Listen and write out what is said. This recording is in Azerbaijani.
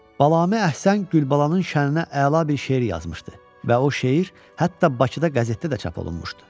Balami Əhsən Gülbalanın şəninə əla bir şeir yazmışdı və o şeir hətta Bakıda qəzetdə də çap olunmuşdu.